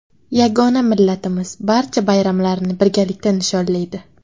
Yagona millatimiz barcha bayramlarni birgalikda nishonlaydi.